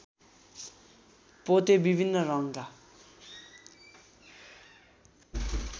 पोते विभिन्न रङका